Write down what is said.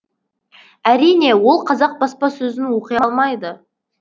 әрине ол қазақ баспасөзін оқи алмайды